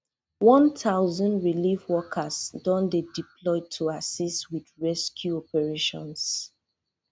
one thousand relief workers don dey deployed to assist wit rescue operations